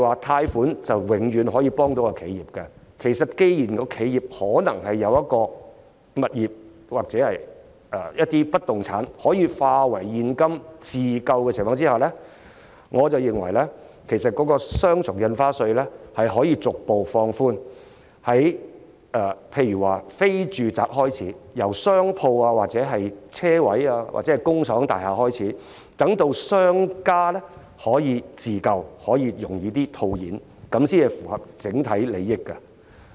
貸款不是永遠可以幫到企業，既然企業可能有物業或不動產可以化為現金自救，我認為雙倍印花稅可逐步放寬，例如由商鋪、車位或工廠大廈等非住宅物業開始實施，讓商家可以自救，更容易套現，這樣才符合整體利益。